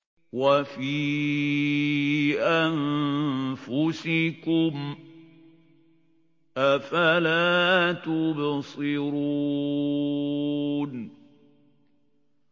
وَفِي أَنفُسِكُمْ ۚ أَفَلَا تُبْصِرُونَ